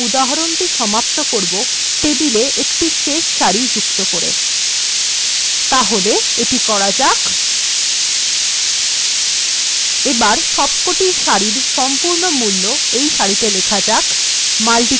আমরা এই উদাহরণটি এই টেবিলএ একটি শেষ সারি যুক্ত করে সমাপ্ত করব তাহলে এটি করা যাক এবার সবকটি সারির সম্পূর্ণ মূল্য এই শেষ সারিতে লেখা যাক